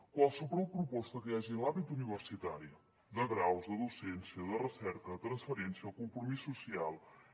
qualsevol proposta que hi hagi en l’àmbit universitari de graus de docència de recerca de transferència de compromís social